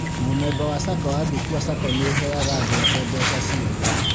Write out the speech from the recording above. Mũmemba wa SACCO angĩkua SACCO nĩ ĩheaga andũ ake mbeca ciake